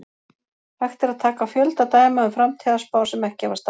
Hægt er að taka fjölda dæma um framtíðarspár sem ekki hafa staðist.